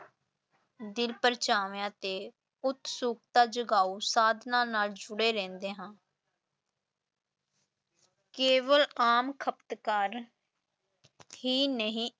ਦਿਲ-ਪਰਚਾਵਿਆਂ ਤੇ ਉਤਸੁਕਤਾ ਜਗਾਉ ਸਾਧਨਾਂ ਨਾਲ ਜੁੜੇ ਰਹਿੰਦੇ ਹਾਂ ਕੇਵਲ ਆਮ ਖ਼ਪਤਕਾਰ ਹੀ ਨਹੀਂ